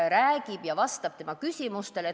Ta räägib ja vastab tema küsimustele.